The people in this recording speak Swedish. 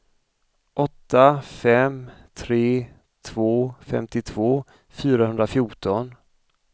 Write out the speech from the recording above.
åtta fem tre två femtiotvå fyrahundrafjorton